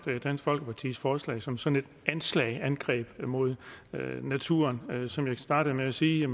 dansk folkepartis forslag som som et anslag et angreb mod naturen som jeg startede med at sige